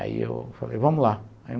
Aí eu falei, vamos lá.